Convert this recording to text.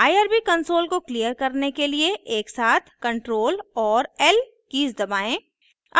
irb console को clear करने के लिए एकसाथ ctrl और l कीज़ दबाएं